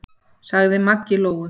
sagði Maggi Lóu.